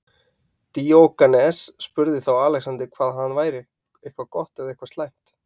Díógenes spurði þá Alexander hvað hann væri, eitthvað gott eða eitthvað slæmt.